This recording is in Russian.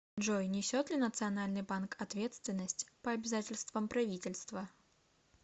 джой несет ли национальный банк ответственность по обязательствам правительства